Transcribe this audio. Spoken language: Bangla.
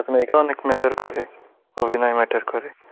আপনার অনেক matter করে অভিনয় matter করে